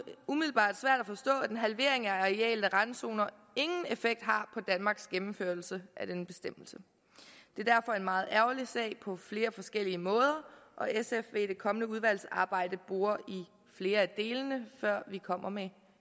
umiddelbart svært at forstå at en halvering af arealet af randzoner ingen effekt har på danmarks gennemførelse af denne bestemmelse det er derfor en meget ærgerlig sag på flere forskellige måder og sf vil i det kommende udvalgsarbejde bore i flere af delene før vi kommer med